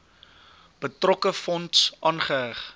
betrokke fonds aanheg